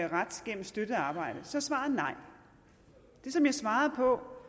ret gennem støttet arbejde så er svaret nej det som jeg svarede på